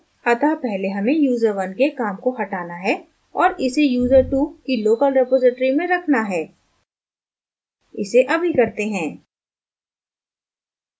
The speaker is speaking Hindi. अतः पहले हमें user1 के काम को हटाना है और इसे user2 की local रिपॉज़िटरी में रखना है इसे अभी करते हैं